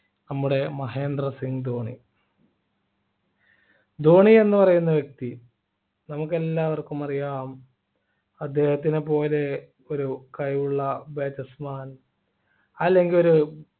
നമ്മുടെ മഹേന്ദ്ര സിംഗ് ധോണി ധോണി എന്ന് പറയുന്ന വ്യക്തി നമുക്ക് എല്ലാവർക്കും അറിയാം അദ്ദേഹത്തിനെപ്പോലെ ഒരു കഴിവുള്ള batsman അല്ലെങ്കിൽ ഒരു